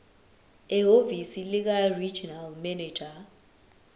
ehhovisi likaregional manager